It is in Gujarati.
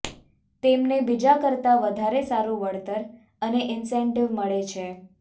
તેમને બીજા કરતાં વધારે સારું વળતર અને ઇન્સેન્ટિવ મળે છે